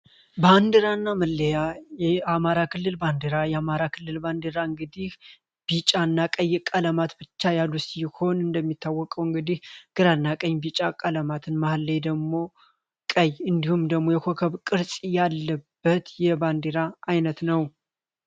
ባንድራ እና መለያ አማራ ክልል ባንድራ የአማራ ክልል ባንድራ እንግዲህ ቢጫና ቀይ ቀለማት ብቻ ያሉት ሲሆን እንደሚታወቀው እንግዲህ ግራናቀኝ ቢጫ ቀለማትን መሀል ላይ ደግሞ ቀይ እንዲሁም ደግሞ የኮከብ ቅርጽ ያለበት የባንድራ ዓይነት ነው።